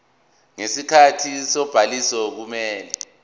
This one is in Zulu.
ngesikhathi sobhaliso kumele